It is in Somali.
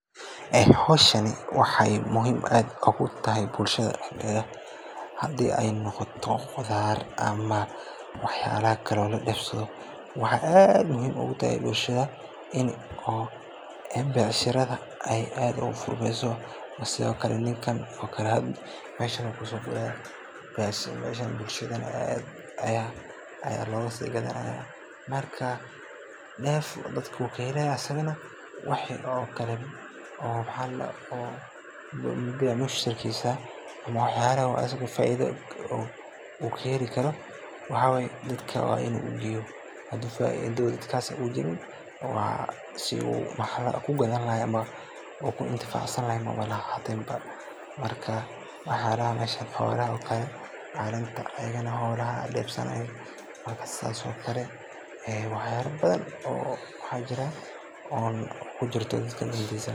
Howshani wexey bushada dexdeda ogutahay muhiim hadi ey noqoto qudar, wexey aad muhiim ogutahay bulshda in ey becsharsada ogufurmeyso oo ninka hda deef ayu kahelaya lacagna wey usogalineysa marka becmushtarkisa ama waxa faido kahelayo waxa waye dadka wax kagato ama kuintifacsanlayaahy waye marka waxyalo aad ubadan ayey anfacda howshan.